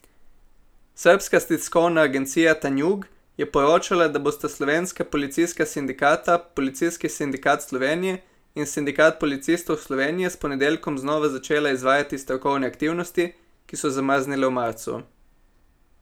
Srbska tiskovna agencija Tanjug je poročala, da bosta slovenska policijska sindikata Policijski sindikat Slovenije in Sindikat policistov Slovenije s ponedeljkom znova začela izvajati stavkovne aktivnosti, ki so zamrznile v marcu.